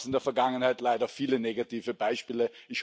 Da gab es in der Vergangenheit leider viele negative Beispiele.